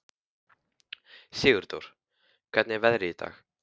Sigurdór, hvernig er veðrið í dag?